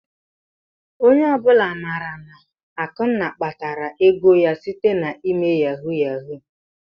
Onye ọbụla ma na Akunna kpatara ego ya site n'ịme yahu yahu.